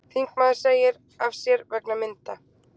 Þingmaður segir af sér vegna mynda